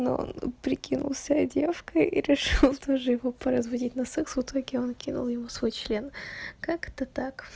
ну он прикинулся девушкой и решил тоже его поразводить на секс в итоге он кинул ему свой член как это так